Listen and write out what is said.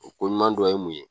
O ko ɲuman dɔ ye mun ye ?